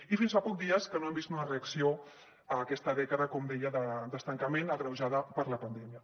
i fins fa poc dies no hem vist una reacció a aquesta dècada com deia d’estancament agreujada per la pandèmia